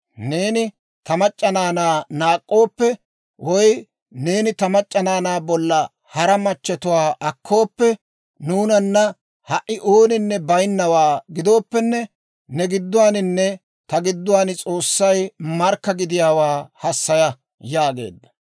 Neeni ta mac'c'a naanaa naak'k'ooppe, woy neeni ta mac'c'a naanaa bolla hara machatuwaa akkooppe, nuunana ha"i ooninne baynnawaa gidooppenne ne gidduwaaninne ta gidduwaan S'oossay markka gidiyaawaa hassaya» yaageedda.